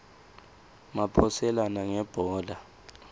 maphoselana ngebhola